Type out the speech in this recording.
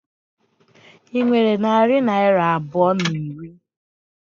Ị nwere narị naira abụọ na iri?